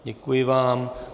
Děkuji vám.